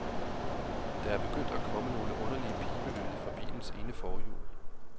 Der er begyndt at komme nogle underlige pibelyde fra bilens ene forhjul.